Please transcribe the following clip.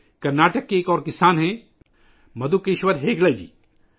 کرناٹک کے ایک اور کسان ہیں مدھوکیشور ہیگڈے جی